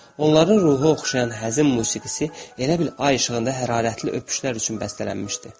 Onların ruhu oxşayan həzin musiqisi elə bil ay işığında hərarətli öpüşlər üçün bəstələnmişdi.